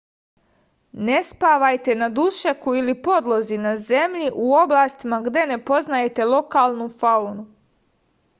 ne spavajte na dušeku ili podlozi na zemlji u oblastima gde ne poznajete lokalnu faunu